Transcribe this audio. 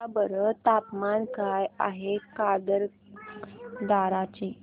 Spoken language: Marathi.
सांगा बरं तापमान काय आहे काकरदरा चे